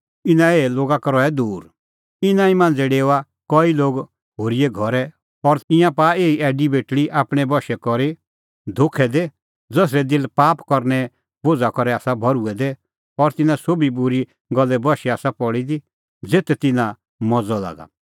इना ई मांझ़ै डेओआ कई लोग होरीए घरै और तिंयां पाआ एही ऐडी बेटल़ी आपणैं बशै करी धोखै दी ज़सरै दिल पाप करने बोझ़ा करै आसा भर्हुऐ दै और तिन्नां सोभी बूरी गल्ले बशै आसा पल़ी दी ज़ेथ तिन्नां मज़अ लागा